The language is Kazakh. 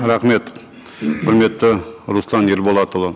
рахмет құрметті руслан ерболатұлы